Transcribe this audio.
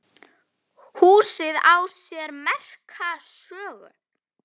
Húsið á sér merka sögu.